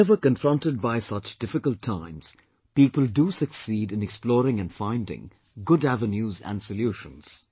Whenever confronted by such difficult times, people do succeed in exploring and finding good avenues and solutions